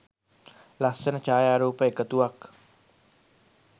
ලස්සන ඡායාරෑප එකතුවක්.